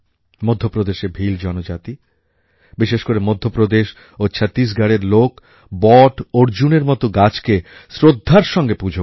মধ্যপ্রদেশের ভীল জনজাতি বিশেষ করে মধ্যপ্রদেশ ও ছত্তিশগড়ের লোক বট অর্জুনের মতো গাছকে শ্রদ্ধার সঙ্গে পূজা করে